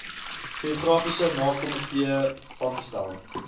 geografiese namekomitee aangestel